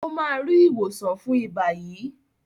o má rí ìwòsàn fún iba yí.